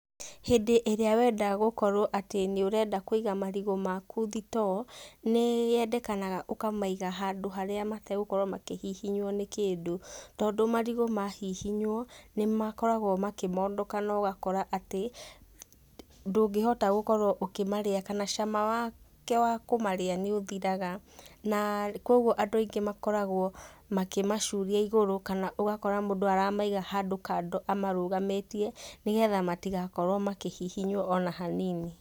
Hĩndĩ ĩria wenda gukorwo atĩ nĩ ũrenda Kũiga marigũ maku thitoo, nĩ yendekanaga ũkamaiga handũ haria mategũkorwo makĩhihinywo nĩ kĩndũ. Tondũ marigũ mahihinywo nĩ makoragwo makĩmondoka na ũgakora atĩ ndũngĩhota gukorwo ũkĩmaria kana cama wake wa kũmarĩa nĩ ũthiraga. Koguo andũ aingĩ makoragwo makĩmacuria igũrũ kana ũgakora mũndũ aramaiga handũ kando amarũgamĩtie nĩgetha matigakorwo makĩhihinywo ona hanini.